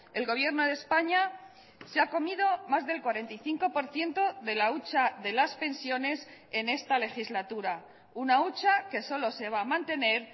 el gobierno de españa se ha comido más del cuarenta y cinco por ciento de la hucha de las pensiones en esta legislatura una hucha que solo se va a mantener